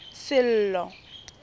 sello